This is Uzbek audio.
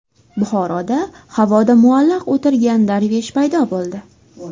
Buxoroda havoda muallaq o‘tirgan darvish paydo bo‘ldi .